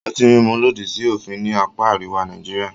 Ọtí mímu lòdì sí òfin ní apá àríwá Nàìjíríà.